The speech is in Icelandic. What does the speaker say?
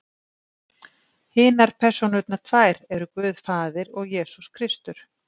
Hinar persónurnar tvær eru Guð faðir og Jesús Kristur.